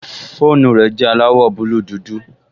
Fóònù rẹ̀ jẹ́ aláwọ̀ búúlù dúdú